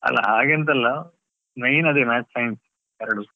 ಅಲ್ಲ ಹಾಗೆಂತ ಅಲ್ಲ main ಅದೆ Maths, Science ಎರಡು.